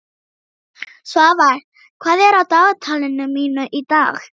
Svafar, hvað er á dagatalinu mínu í dag?